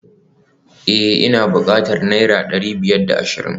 Eh ina bukatan naira dari biyar da ashirin